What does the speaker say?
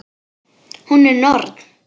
Hún er norn.